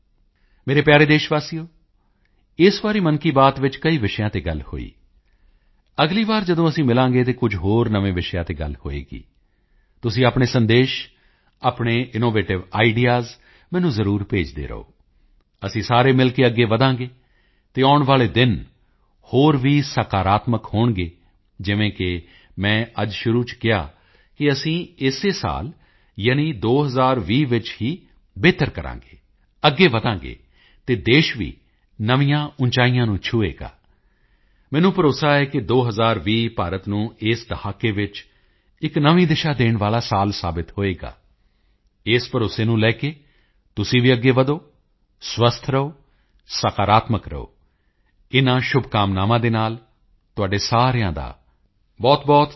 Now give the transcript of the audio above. ਮੇਰੇ ਪਿਆਰੇ ਦੇਸ਼ਵਾਸੀਓ ਇਸ ਵਾਰੀ ਮਨ ਕੀ ਬਾਤ ਵਿੱਚ ਕਈ ਵਿਸ਼ਿਆਂ ਤੇ ਗੱਲ ਹੋਈ ਅਗਲੀ ਵਾਰੀ ਜਦੋਂ ਅਸੀਂ ਮਿਲਾਂਗੇ ਤਾਂ ਕੁਝ ਹੋਰ ਨਵੇਂ ਵਿਸ਼ਿਆਂ ਤੇ ਗੱਲ ਹੋਵੇਗੀ ਤੁਸੀਂ ਆਪਣੇ ਸੰਦੇਸ਼ ਆਪਣੇ ਇਨੋਵੇਟਿਵ ਆਈਡੀਈਏਐਸ ਮੈਨੂੰ ਜ਼ਰੂਰ ਭੇਜਦੇ ਰਹੋ ਅਸੀਂ ਸਾਰੇ ਮਿਲ ਕੇ ਅੱਗੇ ਵਧਾਂਗੇ ਅਤੇ ਆਉਣ ਵਾਲੇ ਦਿਨ ਹੋਰ ਵੀ ਸਕਾਰਾਤਮਕ ਹੋਣਗੇ ਜਿਵੇਂ ਕਿ ਮੈਂ ਅੱਜ ਸ਼ੁਰੂ ਵਿੱਚ ਕਿਹਾ ਕਿ ਅਸੀਂ ਇਸੇ ਸਾਲ ਯਾਨੀ 2020 ਵਿੱਚ ਹੀ ਬਿਹਤਰ ਕਰਾਂਗੇ ਅੱਗੇ ਵਧਾਂਗੇ ਅਤੇ ਦੇਸ਼ ਵੀ ਨਵੀਆਂ ਉਚਾਈਆਂ ਨੂੰ ਛੂਹੇਗਾ ਮੈਨੂੰ ਭਰੋਸਾ ਹੈ ਕਿ 2020 ਭਾਰਤ ਨੂੰ ਇਸ ਦਹਾਕੇ ਵਿੱਚ ਇੱਕ ਨਵੀਂ ਦਿਸ਼ਾ ਦੇਣ ਵਾਲਾ ਸਾਲ ਸਾਬਿਤ ਹੋਵੇਗਾ ਇਸੇ ਭਰੋਸੇ ਨੂੰ ਲੈ ਕੇ ਤੁਸੀਂ ਵੀ ਅੱਗੇ ਵਧੋ ਸਵਸਥ ਰਹੋ ਸਕਾਰਾਤਮਕ ਰਹੋ ਇਨ੍ਹਾਂ ਸ਼ੁਭਕਾਮਨਾਵਾਂ ਦੇ ਨਾਲ ਆਪ ਸਾਰਿਆਂ ਦਾ ਬਹੁਤਬਹੁਤ ਧੰਨਵਾਦ